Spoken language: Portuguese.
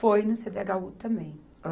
Foi no cêdêagáu também.